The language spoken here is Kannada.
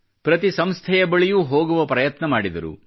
ಪ್ರತಿ ಸಂಸ್ಥೆಯ ಬಳಿಯೂ ಹೋಗುವ ಪ್ರಯತ್ನ ಮಾಡಿದರು